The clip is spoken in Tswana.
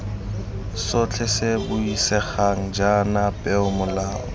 sotlhe se buisegang jaana peomolao